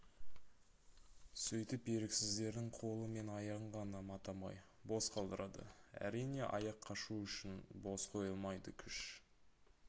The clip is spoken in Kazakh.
сөйтіп еріксіздердің қолы мен аяғын ғана матамай бос қалдырады әрине аяқ қашу үшін бос қойылмайды күш